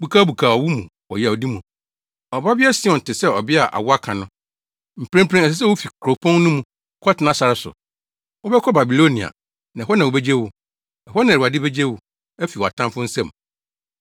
Bukabukaw wo mu wɔ yawdi mu, Ɔbabea Sion, te sɛ ɔbea a awo aka no, mprempren ɛsɛ sɛ wufi kuropɔn no mu kɔtena sare so. Wobɛkɔ Babilonia; na hɔ na wobegye wo. Ɛhɔ na Awurade begye wo afi wʼatamfo nsam.